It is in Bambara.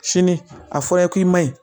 Sini a fɔra ye k'i ma ɲi